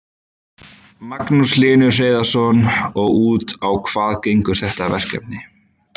Magnús Hlynur Hreiðarsson: Og út á hvað gengur þetta verkefni?